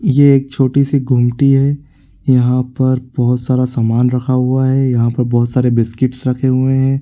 ये एक छोटी-सी गुमटी है | यहाँ पर बहुत सारा सामान रखा हुआ है | यहाँ पर बहुत सारे बिस्किट्स रखे हुए हैं ।